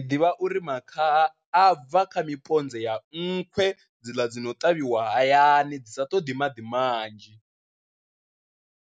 Ndi ḓivha uri makhaha a bva kha miponze ya nkhwe dziḽa dzi no ṱavhiwa hayani dzi sa ṱoḓi maḓi manzhi,